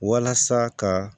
Walasa ka